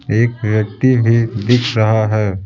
एक व्यक्ति भी दिख रहा है।